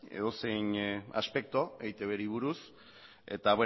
edozein aspektu eitbri buruz eta